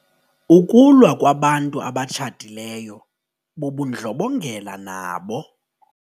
Ukulwa kwabantu abatshatileyo bubundlobongela nabo.